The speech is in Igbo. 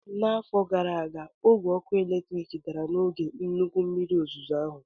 N'afọ gara aga, ogwe ọkụ eletrik dara n'oge nnukwu mmiri ozuzo ahụ